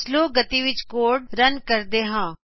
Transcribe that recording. slow ਗਤੀ ਵਿਚ code run ਕਰਦੇ ਹਾਂ